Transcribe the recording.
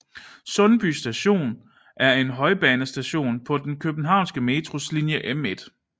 Sundby Station er en højbanestation på den københavnske Metros linje M1